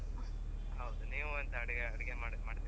ಹೌದು ನೀವ್ ಎಂತ ಅಡಿಗೆ ಅಡಿಗೆ ಮಾಡ್ತೀರಾ ?